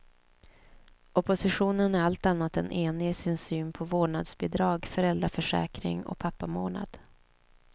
Oppositionen är allt annat än enig i sin syn på vårdnadsbidrag, föräldraförsäkring och pappamånad.